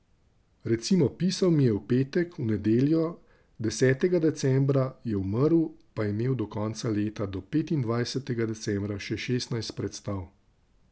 Recimo, pisal mi je v petek, v nedeljo, desetega decembra, je umrl, pa je imel do konca leta, do petindvajsetega decembra, še šestnajst predstav.